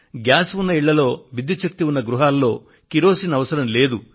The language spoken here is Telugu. గ్యాస్ ఉన్న ఇళ్లలో విద్యుత్ శక్తి ఉన్న గృహాల్లో కిరోసిన్ అవసరం లేదు